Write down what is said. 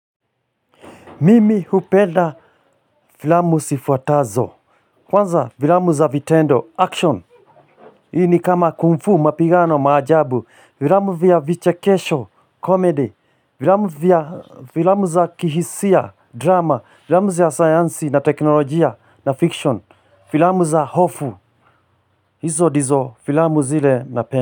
Mimi hupenda filamu zifuatazo. Kwanza, filamu za vitendo, action. Hii ni kama kung fu, mapigano, maajabu. Filamu vya vichekesho, comedy. Filamu vya, filamu za kihisia, drama. Filamu za sayansi na teknolojia na fiction. Filamu za hofu. Hizo ndizo filamu zile napenda.